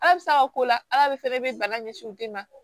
Ala bɛ sa o ko la ala de fana bɛ bana ɲɛsin u den ma